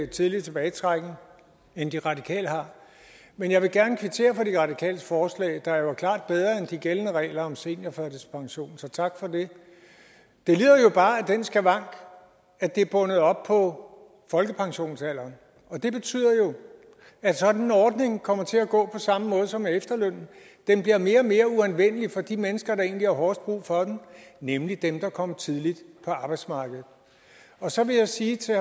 tidlig tilbagetrækning end de radikale har men jeg vil gerne kvittere for de radikales forslag der jo er klart bedre end de gældende regler om seniorførtidspension så tak for det det lider jo bare af den skavank at det er bundet op på folkepensionsalderen det betyder jo at sådan en ordning kommer til at gå på samme måde som med efterlønnen den bliver mere og mere uanvendelig for de mennesker der egentlig har hårdest brug for den nemlig dem der kom tidligt på arbejdsmarkedet og så vil jeg sige til